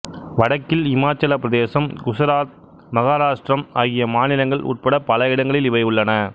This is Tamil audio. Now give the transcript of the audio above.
வடக்கில் இமாச்சலப் பிரதேசம் குசராத் மகாராட்டிரம் ஆகிய மாநிலங்கள் உட்பட்ட பல இடங்களில் இவை உள்ளன